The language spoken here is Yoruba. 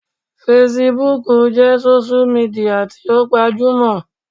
Fesibúùkù jẹ́ sósú midià tí ó gbajúmọ̀